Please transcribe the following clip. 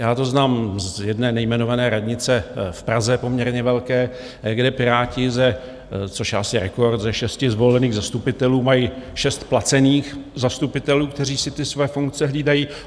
Já to znám z jedné nejmenované radnice v Praze, poměrně velké, kde Piráti, což je asi rekord, ze šesti zvolených zastupitelů mají šest placených zastupitelů, kteří si ty své funkce hlídají.